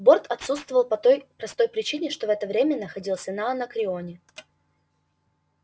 борт отсутствовал по той простой причине что в это время находился на анакреоне